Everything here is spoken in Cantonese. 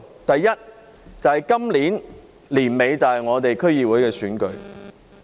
第一，今年年底便是區議會選舉。